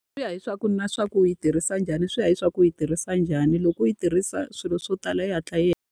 Swi ya hileswaku na leswaku u yi tirhisa njhani. Swi ya hileswaku yi tirhisa njhani. Loko u yi tirhisa swilo swo tala yi hatla yi hela.